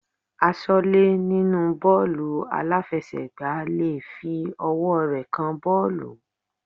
Aṣọ́lẹ́ nínú bọ́ọ̀lù aláfiẹsẹ̀ gbá le fi ọwọ́ rẹ̀ kan bọ́ọ̀lù.